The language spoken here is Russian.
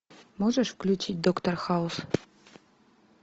можешь включить доктор хаус